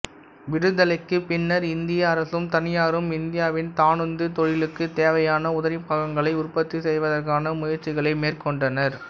விடுதலைக்குப் பின்னர் இந்திய அரசும் தனியாரும் இந்தியாவின் தானுந்துத் தொழிலுக்குத் தேவையான உதிரிப்பாகங்களை உற்பத்தி செய்வதற்கான முயற்சிகளை மேற்கொண்டனர்